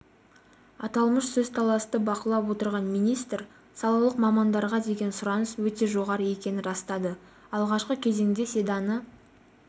аталмыш сөзталасты бақылап отырған министр салалық мамандарға деген сұраныс өте жоғары екенін растады алғашқы кезеңде седаны